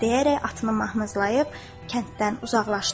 deyərək atını mahmızlayıb kənddən uzaqlaşdı.